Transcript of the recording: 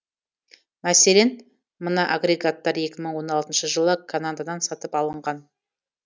мәселен мына агрегаттар екі мың он алтыншы жылы канададан сатып алынған